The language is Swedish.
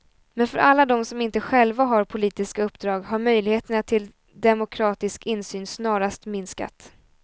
Men för alla dem som inte själva har politiska uppdrag har möjligheterna till demokratisk insyn snarast minskat.